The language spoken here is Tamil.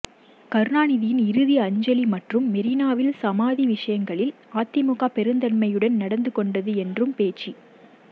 கருணாநிதியின் இறுதி அஞ்சலி மற்றும் மெரினாவில் சமாதி விசயங்களில் அதிமுக பெருந்தன்மையுடன் நடந்து கொண்டது என்றும் பேச்சு